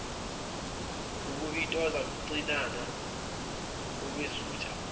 ukubitoza cinana wukwesutha